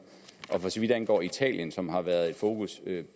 og for så vidt angår italien som har været i fokus i